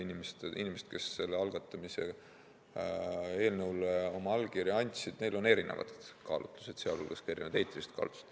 Inimestel, kes sellele eelnõule oma allkirja andsid, on erinevad kaalutlused, sealhulgas ka erinevad eetilised kaalutlused.